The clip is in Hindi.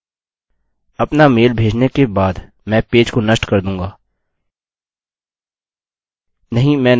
अपना मेल भेजने के बाद मैं पेज को नष्ट कर दूँगा